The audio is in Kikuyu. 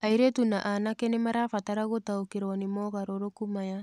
Airĩtu na anake nĩ marabatara gũtaũkĩrũo nĩ mogarũrũku maya.